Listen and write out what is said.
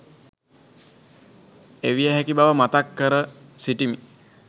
එවිය හැකි බව මතක් කර සිටිමි.